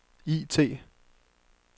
IT